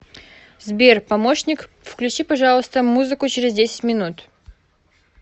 сбер помощник включи пожалуйста музыку через десять минут